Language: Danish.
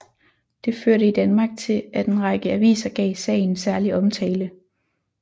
Det førte i Danmark til at en række aviser gav sagen særlig omtale